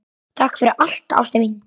Takk fyrir allt, ástin mín.